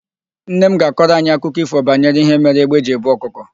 Nne m ga-akọrọ anyị akụkọ ífò banyere ihe mere égbé ji ebu ọkụkọ.